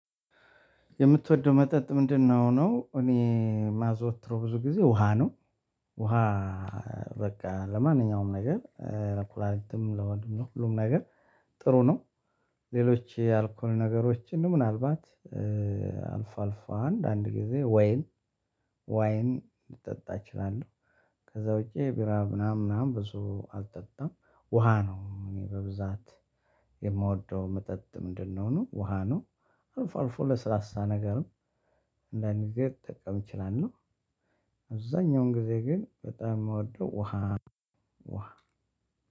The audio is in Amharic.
የምትወደው መጠጥ ምንድነው? ነው እኔ የማዘወትረው ብዙ ጊዜ ውሃ ነው። ውሃ በቃ ለማንኛውም ነገር ለኩላሊትም ለሆድም ነው ሁሉም ነገር ጥሩ ነው። ሌሎች ያልኩን ነገሮችን ምናልባት አልፎ አልፎ አንድ አንድ ጊዜ ወይን ልጠጣ እችላለሁ። ከዛ ውጪ ቢራ ምናምን ምናምን ብዙ አልጠጣም። ውሃ ነው እኔ በብዛት የምወደው መጠጥ ምንድነው ነው ውሃ ነው። አልፎአልፎ ለስላሳ ነገርም አንዳንድ ጊዜ ልጠቀም እችላለሁ። አብዛኛውን ጊዜ ግን በጣም የምወደው ውሃ